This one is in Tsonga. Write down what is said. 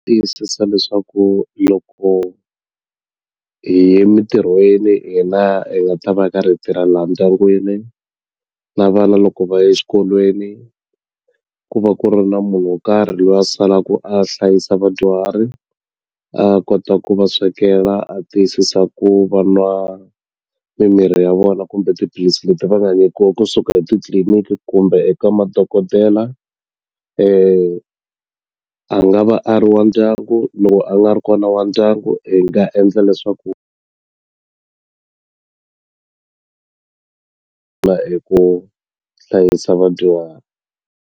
Tiyisisa leswaku loko hi ye mintirhweni hina hi nga ta va hi karhi hi tirha laha ndyangwini na vana loko va ye xikolweni ku va ku ri na munhu wo karhi loyi a salaku a hlayisa vadyuhari a kota ku va swekela a tiyisisa ku va nwa mimirhi ya vona kumbe tiphilisi leti va nga nyikiwa kusuka etitliliniki kumbe eka madokodela a nga va a ri wa ndyangu loko a nga ri kona wa ndyangu hi nga endla leswaku hi ku hlayisa vadyuhari.